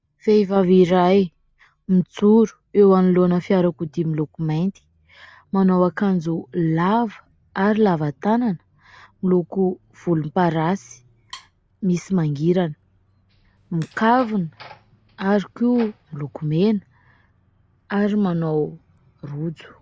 Vehivavy iray mijoro eo anolon'ny fiara kodia miloko mainty, manao ankanjo lava ary lava tanana miloko volomparasy misy mangirana, mikavina ary koa milokomena ary manao rojo.